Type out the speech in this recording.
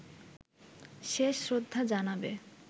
শেষ শ্রদ্ধা জানাবে